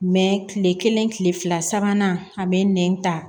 kile kelen kile fila sabanan a be nɛn ta